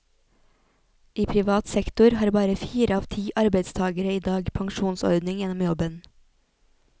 I privat sektor har bare fire av ti arbeidstagere i dag pensjonsordning gjennom jobben.